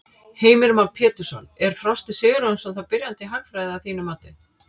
Heimir Már Pétursson: Er Frosti Sigurjónsson þá byrjandi í hagfræði að þínu mati?